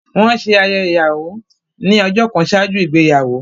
Wọ́n ṣe ayẹyẹ ìyàwó ní ọjọ́ kan ṣáájú ìgbéyàwó